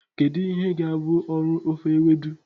Kedu ihe ga-abụ ọrụ ofe Ewedu?